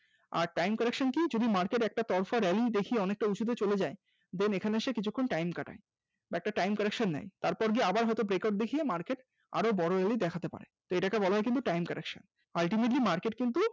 আর time correction কি যদি market একটা পরপর rally দেখি অনেকটা উঁচুতে চলে যায় then এখানে সে কিছুক্ষণ time কাটায় একটা time correction নেয় তারপর গিয়ে আবার হয়তো breakout দেখিয়ে market আরো বড় rally দেখাতে পারে এটাকে বলা হয় কিন্তু time correction । ultimately market কিন্তু